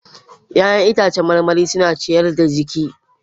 Ya'yan itãcen marmari suna ciyar da jiki